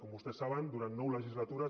com vostès saben durant nou legislatures